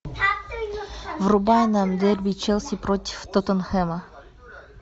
врубай нам дерби челси против тоттенхэма